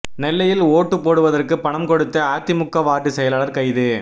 நெல்லையில் ஒட்டு போடுவதற்கு பணம் கொடுத்த அதிமுக வார்டு செயலாளர் கைது